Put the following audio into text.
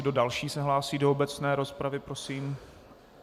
Kdo další se hlásí do obecné rozpravy, prosím?